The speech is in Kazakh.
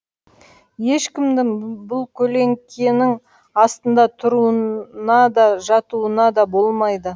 ешкімнің бұл көлеңкенің астында тұруына да жатуына да болмайды